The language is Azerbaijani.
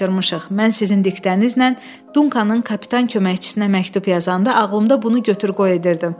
Mən sizin diktənizlə Dunkanın kapitan köməkçisinə məktub yazanda ağlımda bunu götür-qoy edirdim.